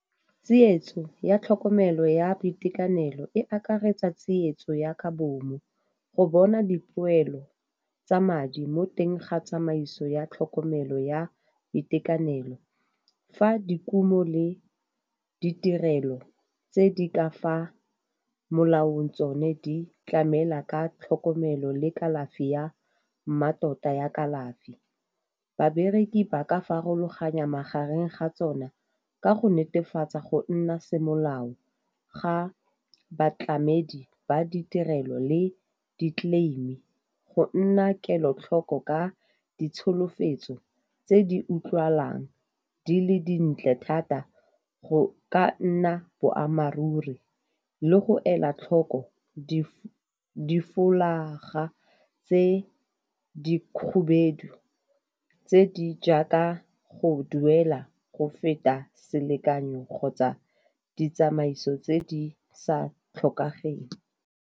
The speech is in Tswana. Tsietso ya tlhokomelo ya boitekanelo e akaretsa tsietso ya ka bomu, go bona dipoelo tsa madi mo teng ga tsamaiso ya tlhokomelo ya itekanelo. Fa dikumo le ditirelo tse di ka fa molaong tsone di tlamela ka tlhokomelo le kalafi ya mmatota ya kalafi. Babereki ba ka farologanya magareng ga tsona ka go netefatsa go nna semolao ga batlamedi ba ditirelo le di-claim-e go nna kelotlhoko ka ditsholofetso tse di utlwalang di le dintle thata, go ka nna boammaaruri le go ela tlhoko di folaga tse di khubedu tse di jaaka go duela go feta selekanyo kgotsa ditsamaiso tse di sa tlhokegeng.